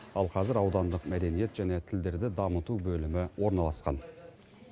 ал қазір аудандық мәдениет және тілдерді дамыту бөлімі орналасқан